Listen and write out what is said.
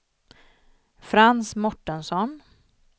Frans Mårtensson